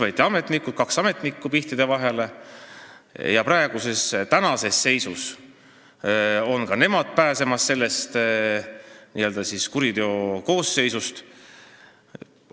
Siis võeti kaks ametnikku pihtide vahele, tänases seisus on ka nemad n-ö pääsemas kuriteokoosseisust.